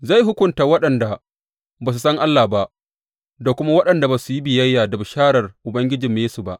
Zai hukunta waɗanda ba su san Allah ba da kuma waɗanda ba su yi biyayya da bisharar Ubangijinmu Yesu ba.